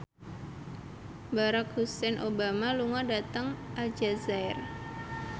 Barack Hussein Obama lunga dhateng Aljazair